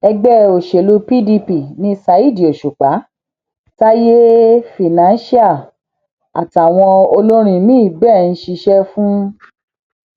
ẹgbẹ òsèlú pdp ni ṣáídì òṣùpá táyé financial àtàwọn olórin míín bẹẹ ń ṣiṣẹ fún